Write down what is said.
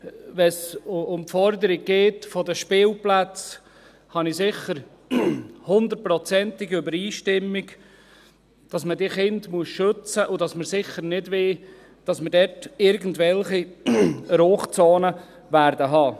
Wenn es um die Forderung der Spielplätze geht, habe ich sicher eine hundertprozentige Übereinstimmung, dass man diese Kinder schützen muss und dass wir sicher nicht wollen, dass wir dort irgendwelche Rauchzonen haben werden.